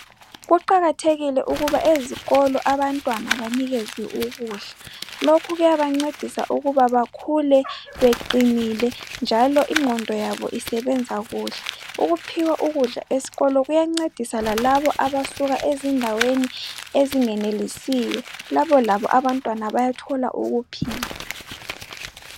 Kuqakathekile ukuba abantwana ezikolweni baphiwe ukudla. Lokhu kuyabancedisa ukuthi bakhule beqinile njalo ingqondo isebenza kuhle. Ukuphiwa ukudla esikolo kuyancedisa lalabo abasuka endaweni ezingenelisiyo labo bayathola ukuphila.